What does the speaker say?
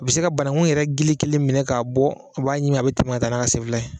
A bɛ se ka banankun yɛrɛ gili kelen minɛ k'a bɔn a b'a ɲimin , a bɛ tɛmɛ ka taa n'a ka sen fila ye.